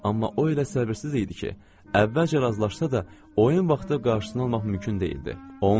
Amma o elə səbirsiz idi ki, əvvəlcə razılaşsa da, oyun vaxtı qarşısında olmaq mümkün deyildi.